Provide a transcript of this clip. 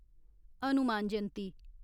Hanuman Jayanti